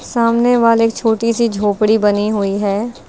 सामने वाल एक छोटी सी झोपड़ी बनी हुई है।